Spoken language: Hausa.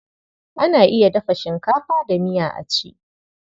Ana iya dafa shinkafa da miya a ci.